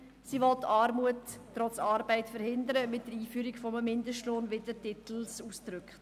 Sie will Armut trotz Arbeit mit dem Einführen eines Mindestlohns verhindern, wie es der Titel ausdrückt.